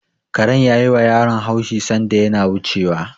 Karen ya yiwa yaron haushi sanda yana wucewa.